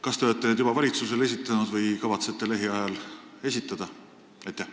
Kas te olete neid juba valitsusele esitanud või kavatsete lähiajal esitada?